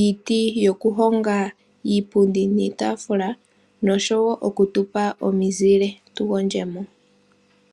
iiti yokuhonga iipundi niitaafula noshowo yoku tupa ominzile tu gondje mo.